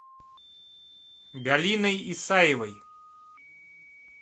галиной исаевой